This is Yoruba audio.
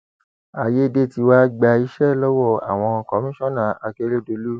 àyédètiwa gba iṣẹ lọwọ àwọn kọmíṣánná àkèrèdọlù